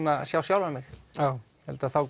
sjá sjálfan mig ég held að þá